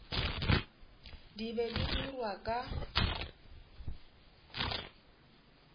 di be di dirwa ka